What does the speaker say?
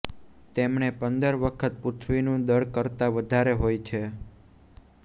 તેમણે પંદર વખત પૃથ્વીનું દળ કરતાં વધારે હોય છે